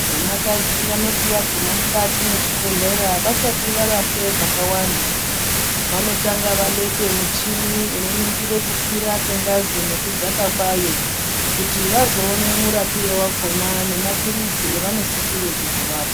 Vanakadzi vanoti vaguma mukati mwechibhedhlera vasati varapwe zvakawanda, vanotanga vabekwe muchini unoningire kukwira kwengazi nekudzaaka kwayo, kuti vazoone murapire wakhona, nemaphirizi evanosisire kuzovapa.